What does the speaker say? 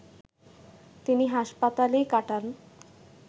তিনি হাসপাতালেই কাটান